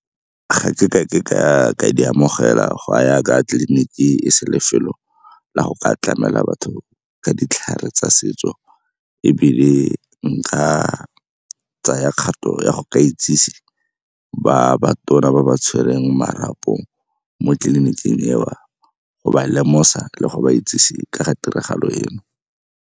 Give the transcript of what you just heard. Ga ke ka ke ka di amogela go a ya ka tleliniki e se lefelo la go ka tlamela batho ka ditlhare tsa setso ebile nka tsaya kgato ya go ka itsise ba ba tona ba ba tshwereng marapong mo tliliniking eo, go ba lemosa le go ba itsise ka ga tiragalo eo.